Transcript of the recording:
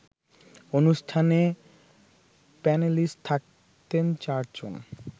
অনুষ্ঠানে প্যানেলিস্ট থাকতেন চারজন